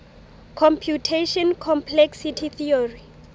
computational complexity theory